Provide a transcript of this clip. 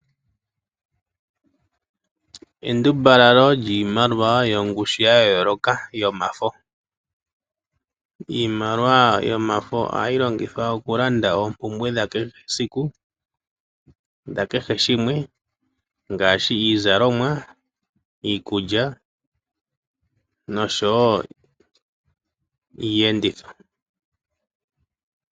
Endumbalalo lyiimaliwa yongushu ya yooloka, yo mafo. Iimaliwa yomafo ohayi longithwa oku landa oompumbwe dha kehe esiku, dha kehe shimwe ngashi iizalomwa, iikulya nosho wo iiyenditho.